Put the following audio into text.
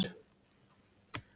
Snæbjört, ég kom með ellefu húfur!